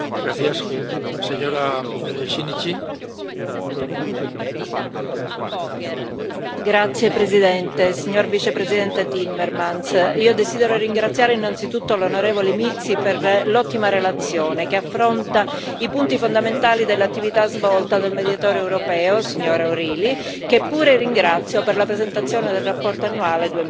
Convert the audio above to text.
Signor Presidente, onorevoli colleghi, signor Vicepresidente Timmermans, io desidero ringraziare innanzitutto l'onorevole Mizzi per l'ottima relazione che affronta i punti fondamentali dell'attività svolta del Mediatore europeo, signora O'Reilly, che pure ringrazio per la presentazione del rapporto annuale